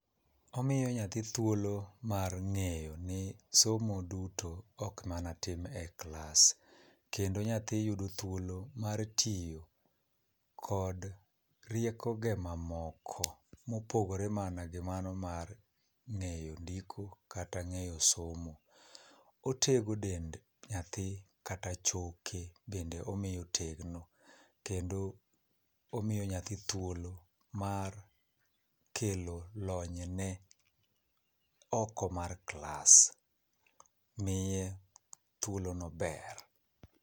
Omiyo nyathi thuolo mar ngéyo ni somo duto ok mana tim e klas. Kendo nyathi yudo thuolo mar tiyo kod rieko ge mamoko, ma opogore mana gi mano mar ngéyo ndiko, kata ngéyo somo. Otego dend nyathi kata choke bende omiyo tegno. Kendo omiyo nyathi thuolo mar kelo lony ne, oko mar klas. Miye thuolo maber.